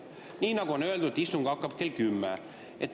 Nii nagu on öeldud, istung hakkab kell kümme.